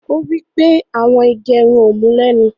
Ọ̀ wí pé awọn ìgẹ̀rùn ọ mú lénu.